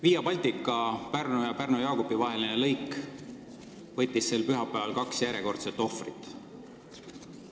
Via Baltica Pärnu ja Pärnu-Jaagupi vaheline lõik võttis sel pühapäeval kaks järjekordset ohvrit.